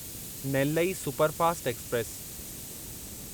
Nellai superfast express